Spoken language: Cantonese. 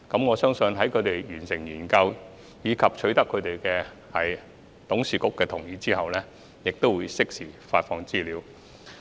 我相信市建局在完成研究及取得董事局同意後，會適時公布有關資料。